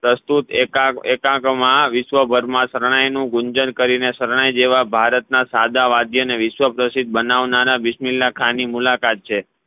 પ્રસ્તુત એકાગમાં વિશ્વભરમાં શરણે નું ગુંજન કરી શરણે જેવા ભારત ના સદા વજય ને વિશ્વ્પ્રસિદ્ધ બનાવનારા બિસ્મીલાહ ખા ની મુલાકાત છે